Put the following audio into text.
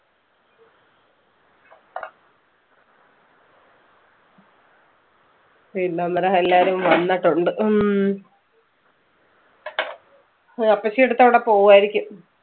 പിന്നെ നമ്മുടെ എല്ലാരും വന്നട്ടുണ്ട്. ഉം അഹ് അപ്പച്ചി അടുത്ത് അവിടെ പോകുവായിരിക്കും.